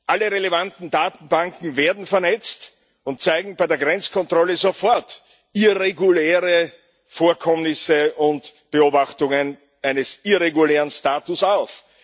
Alle relevanten Datenbanken werden vernetzt und zeigen bei der Grenzkontrolle sofort irreguläre Vorkommnisse und Beobachtungen eines irregulären Status auf.